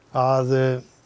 að